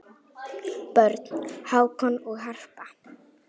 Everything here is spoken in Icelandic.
Börn: Hákon og Harpa.